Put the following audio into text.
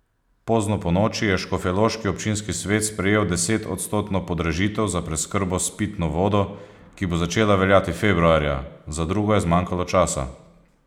Pozno ponoči je škofjeloški občinski svet sprejel desetodstotno podražitev za preskrbo s pitno vodo, ki bo začela veljati februarja, za drugo je zmanjkalo časa.